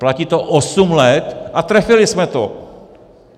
Platí to osm let a trefili jsme to.